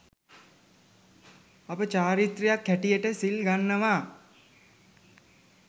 අපි චාරිත්‍රයක් හැටියට සිල් ගන්නවා.